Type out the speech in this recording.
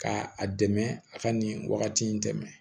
Ka a dɛmɛ a ka nin wagati in tɛmɛ